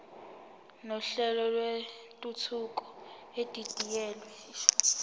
nohlelo lwentuthuko edidiyelwe